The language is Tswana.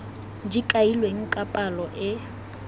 di kailweng ka palo e